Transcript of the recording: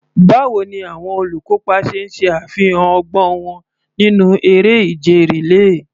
Báwo ni àwọn olùkópa ṣe ṣe àfihàn ọgbọ́n wọn nínú eré ìje rìléè?